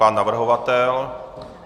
Pan navrhovatel?